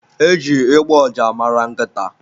Eji ịgbọ ụja mara nkịta.